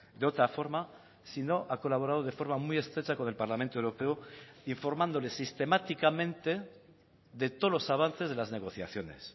de otra forma sino ha colaborado de forma muy estrecha con el parlamento europeo informándole sistemáticamente de todos los avances de las negociaciones